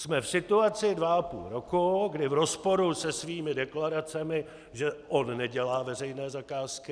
Jsme v situaci dva a půl roku, kdy v rozporu se svými deklaracemi, že on nedělá veřejné zakázky...